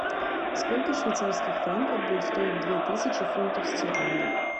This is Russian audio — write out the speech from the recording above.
сколько швейцарских франков будет стоить две тысячи фунтов стерлингов